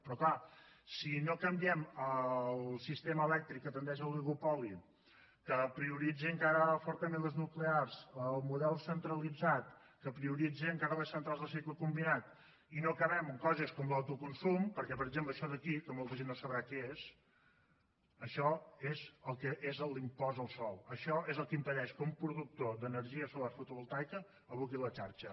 però és clar si no canviem el sistema elèctric que tendeix a oligopoli que prioritza encara fortament les nuclears el model centralitzat que prioritza encara les centrals de cicle combinat i no acabem amb coses com l’autoconsum perquè per exemple això d’aquí que molta gent no sabrà què és això és el que és l’impost del sòl això és el que impedeix que un productor d’energia solar fotovoltaica aboqui a la xarxa